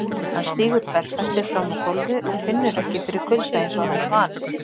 Hann stígur berfættur fram á gólfið og finnur ekki fyrir kulda einsog hann er vanur.